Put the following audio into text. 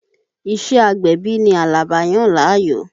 Ìṣé agbẹ̀bí ni Àlàbá yàn láàyò.